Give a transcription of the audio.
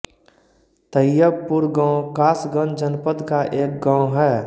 तैयबपुर गांव कासगंज जनपद का एक गांव है